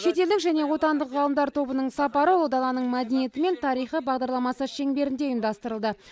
шетелдік және отандық ғалымдар тобының сапары ұлы даланың мәдениеті мен тарихы бағдарламасы шеңберінде ұйымдастырылды